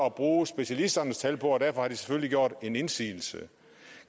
at bruge specialisternes tal på og derfor har de selvfølgelig gjort indsigelse